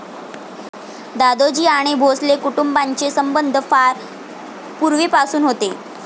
दादोजी आणि भोसले कुटुंबांचे संबंध फार पूर्वीपासून होते.